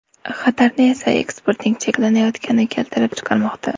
Xatarni esa eksportning cheklanayotgani keltirib chiqarmoqda.